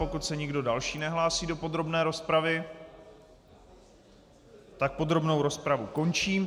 Pokud se nikdo další nehlásí do podrobné rozpravy, tak podrobnou rozpravu končím.